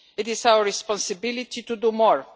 It is our responsibility to do more.